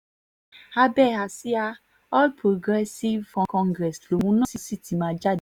abẹ́ àsíá all progressive congress lòun náà sì ti máa jáde